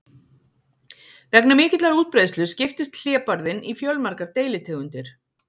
vegna mikillar útbreiðslu skiptist hlébarðinn í fjölmargar deilitegundir